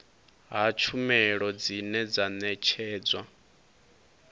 ha tshumelo dzine dza ṋetshedzwa